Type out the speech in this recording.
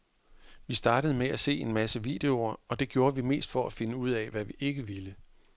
Vi startede med at se en masse videoer, og det gjorde vi mest for at finde ud af, hvad vi ikke ville.